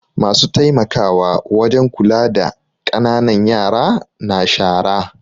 Masu taimakawa wajen kula da ƙananan yara na shara.